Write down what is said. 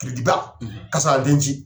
ba ka sɔrɔ a